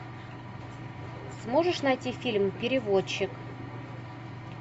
сможешь найти фильм переводчик